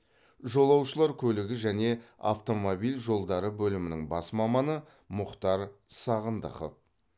жолаушылар көлігі және автомобиль жолдары бөлімінің бас маманы мұқтар сағындықов